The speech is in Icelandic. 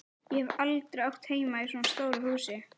Ég hef aldrei átt heima í svona stóru húsi.